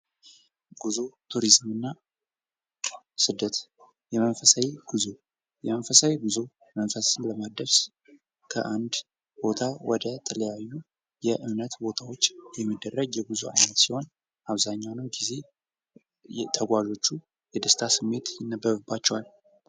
ጉዞ ቱሪዝም እና ስደት የመንፈሳዊ ጉዞ መንፈስን ለማድረስ ከአንድ ቦታ ወደ ተለያዩ የእምነት ቦታዎች የሚደረግ የጉዞ ዓይነት ሲሆን፤ አብዛኛውን ጊዜ ተጓዦቹ የደስታ ስሜት ይነበብባቸዋል።